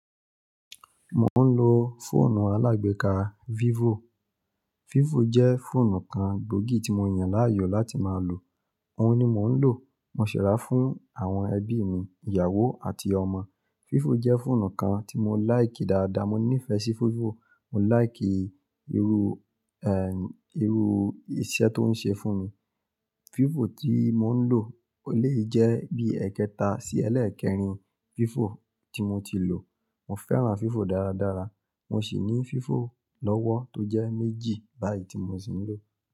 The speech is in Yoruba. Mò ń lo fóònù alágbéka Vivo. Vivo jẹ́ fóònù kan gbòógì tí mo yàn láàyò láti máa lò. Òun ni mò ń lò. Mo si ráa fún àwọn ẹbí mi, ìyàwó àti ọmọ. Vivo jẹ́ fóònù kan tí mo like dáadáa. Mo nífẹ̀ẹ́ sí Vivo. Mo like irú, ẹ́, irú iṣẹ́ tó ń ṣe fún mi. Vivo tí mò ń lò lè jẹ́ bí ẹ́ekẹta sí ẹlẹ́ẹ̀kẹrin Vivo tí mo ti lò. Mo fẹ́ràn Vivo dáradára. Mo sì ní Vivo lọ́wọ́ tó jẹ́ méjì báyìí tí mo sì ń lò.